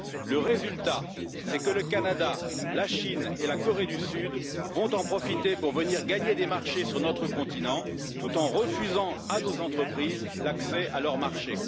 Le résultat, c'est que le Canada, la Chine et la Corée du Sud vont en profiter pour venir gagner des marchés sur notre continent tout en refusant à nos entreprises l'accès à leur marché.